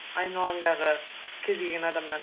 айналаңдағы кез келген адамнан